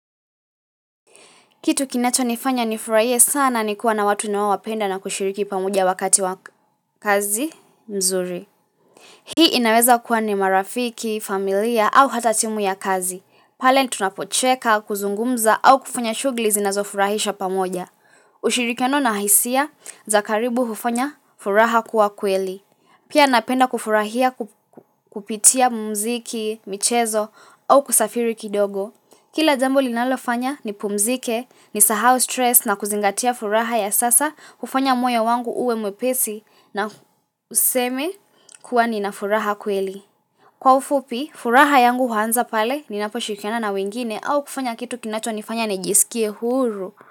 Kitu kinacho nifanya ni furahie sana ni kuwa na watu nawa wapenda na kushiriki pamoja wakati wa kazi nzuri. Hii inaweza kuwa ni marafiki, familia au hata timu ya kazi. Pale tunapocheka, kuzungumza au kufanya shughuli zinazofurahisha pamoja. Ushirikiano na hisia, za karibu hufanya furaha kuwa kweli. Pia napenda kufurahia kupitia mumziki, michezo au kusafiri kidogo. Kila jambo linalofanya nipumzike, nisahau stress na kuzingatia furaha ya sasa, hufanya moyo wangu uwe mwepesi na useme kuwa nina furaha kweli. Kwa ufupi, furaha yangu huanza pale, ninapo shikiana na wengine au kufanya kitu kinacho nifanya nijisikie huru.